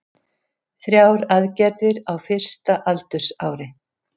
Þrjár aðgerðir á fyrsta aldursári